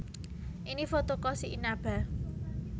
Ini foto Koshi Inaba